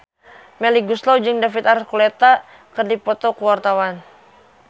Melly Goeslaw jeung David Archuletta keur dipoto ku wartawan